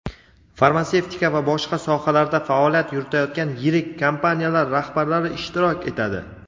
farmatsevtika va boshqa sohalarda faoliyat yuritayotgan yirik kompaniyalar rahbarlari ishtirok etadi.